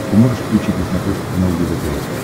ты можешь включить на смотрешке канал егэ тв